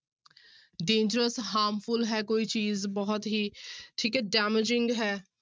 Dangerous, harmful ਹੈ ਕੋਈ ਚੀਜ਼ ਬਹੁਤ ਹੀ ਠੀਕ ਹੈ damaging ਹੈ